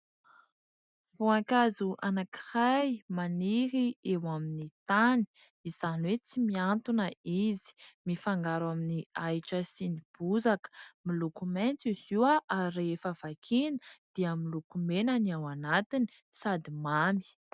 Voankazo anankiray maniry eo amin'ny tany, izany hoe tsy miantona izy mifangaro amin'ny ahitra sy ny bozaka miloko mainty izy io ary rehefa vakiana dia misy loko mena ny ao anatiny sady mamy.